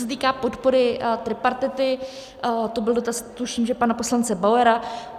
Co se týká podpory tripartity, to byl dotaz, tuším, že pana poslance Bauera.